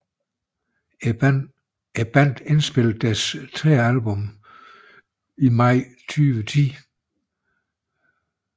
Bandet indspillede deres tredje album i maj 2010 i Stratosphere Sound i New York